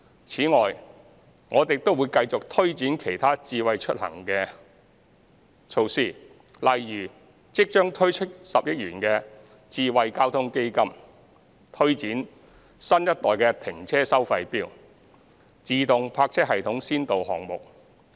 此外，我們亦會繼續推展其他"智慧出行"措施，例如即將推出的10億元"智慧交通基金"、推展新一代停車收費錶、自動泊車系統先導項目。